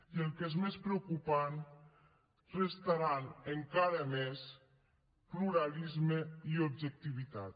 i el que és més preocupant restaran encara més pluralisme i objectivitat